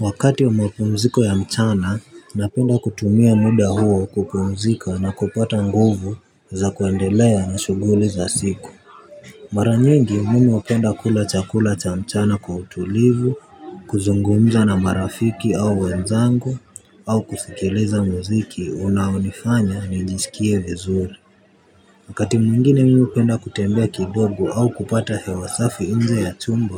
Wakati wa mapumziko ya mchana, napenda kutumia muda huo kupumzika na kupata nguvu za kuendelea na shuguli za siku. Mara nyingi mimi hupenda kula chakula cha mchana kwa utulivu, kuzungumza na marafiki au wenzangu, au kusikiliza muziki unaonifanya nijiskie vizuri. Wakati mwingine mimi hupenda kutembea kidogo au kupata hewa safi inje ya chumba